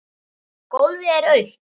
Gólfið er autt.